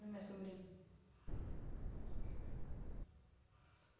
No meu sobrinho.